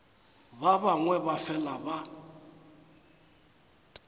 ba bangwe ba fela ba